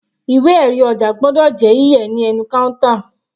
Ìwé erí ọjà gbọ́dọ̀ yí yẹ̀ ní ẹnu counter.